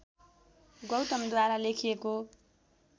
गौतमद्वारा लेखिएको